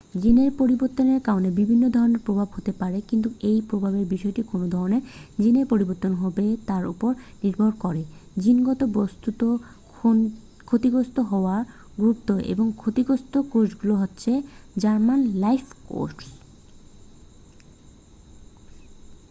জিনের পরিবর্তনের কারণে বিভিন্ন ধরণের প্রভাব হতে পারে কিন্তু এই প্রভাবের বিষয়টি কোন ধরণের জিনের পরিবর্তন হবে তার উপর নির্ভর করে জিনগত বস্তুর ক্ষতিগ্রস্ত হওয়ার গুরুত্ব এবং ক্ষতিগ্রস্ত কোষগুলো হচ্ছে জার্ম-লাইন কোষ